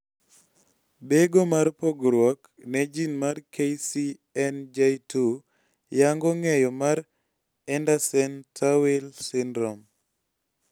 bego mar pogruok ne jin mar KCNJ2 yango ng'eyo mar Andersen Tawil syndrome